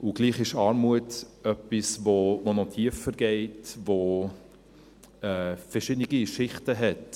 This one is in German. Und doch ist Armut etwas, das noch tiefer geht, das verschiedene Schichten hat.